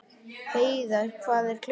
Heiðar, hvað er klukkan?